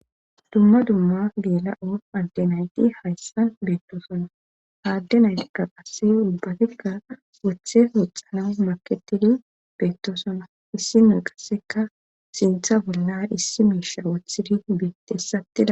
dumma dumma geela'on adde nayti hayssan beettoosana ha adde naytikka qase uubbatikka wothe woxxana maketidi beettoosona issi nay qasseka sintha bollan issi miisha wothidi beettes attida